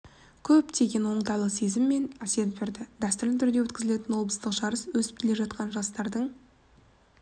көптеген оңтайлы сезім мен әсер берді дәстүрлі түрде өткізілетін облыстық жарыс өсіп келе жатқан жастардың